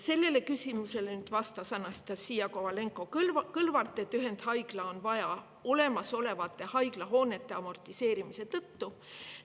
Sellele küsimusele vastas Anastassia Kovalenko-Kõlvart, et ühendhaiglat on vaja olemasolevate haiglahoonete amortiseerumise tõttu.